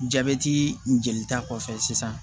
Jabɛti jelita kɔfɛ sisan